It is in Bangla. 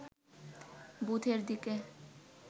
বুথের দিকে